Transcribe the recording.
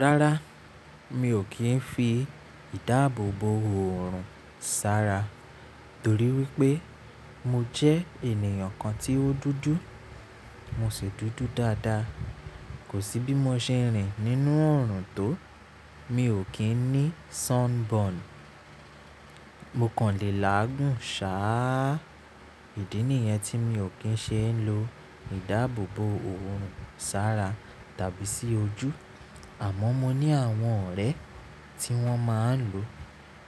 Rárá, mi ò kí ń fi ìdáàbòbò òòrùn sára torí wípé mo jẹ́ ènìyàn kan tí ó dúdú. Mo sì dúdú dáadáa. Kò sí bí mo ṣe rìn nínú òòrùn tó, mi ò kí ń ní sunburn. Mo kàn le làágùn sáà. Ídí nìyẹn tí mi ò kí ń ṣe ń lo ìdáàbòbò òòrùn sára tàbí sí ojú. Àma mo ní àwọn ọ̀rẹ́ tí wọ́n máa ń lo.